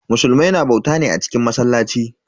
Musulmai na bauta ne a cikin masallaci.